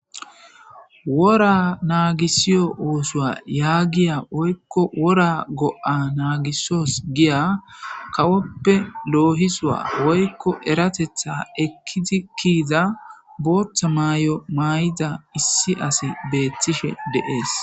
Wora naagisiyo uusuwa yaagiya woykko wora go7a naagisos giya kawoppe loohisuwa woykko eratetha ekkidi kiiza booththa maay7o maay7ida issi asi beettishe deees